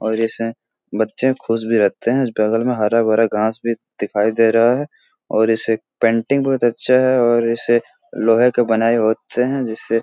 और इसे बच्चे खुश भी रहते हैं। बगल में हरा-भरा घास भी दिखाई दे रहा है और इसे पेंटिंग बहुत अच्छा है और इसे लोहे का बनाई होते हैं जिसे --